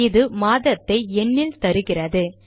இது மாதத்தை எண்ணில் தருகிறது